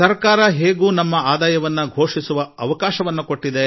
ಸರ್ಕಾರ ನಮ್ಮ ವರಮಾನ ಘೋಷಿಸಿಕೊಳ್ಳಲು ಅವಕಾಶ ಒದಗಿಸಿದೆ